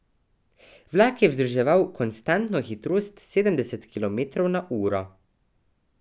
Vlak je vzdrževal konstantno hitrost sedemdeset kilometrov na uro.